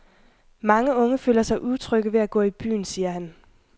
Mange unge føler sig utrygge ved at gå i byen, siger han.